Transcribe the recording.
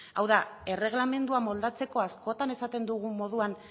hau da erreglamendua moldatzeko askotan esaten dugun moduan